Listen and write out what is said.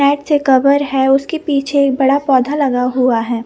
Net से cover है उसके पीछे एक बड़ा पौधा लगा हुआ है।